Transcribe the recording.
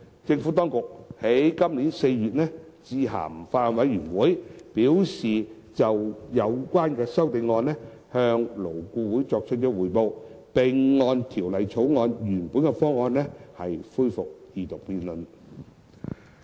政府當局於今年4月致函法案委員會，表示已就有關修正案向勞顧會作出匯報，並會按《條例草案》原本方案，恢復二讀辯論。